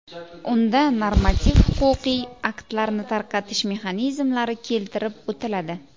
Unda normativ-huquqiy aktlarni tarqatish mexanizmlari keltirib o‘tiladi.